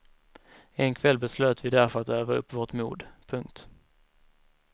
En kväll beslöt vi därför att öva upp vårt mod. punkt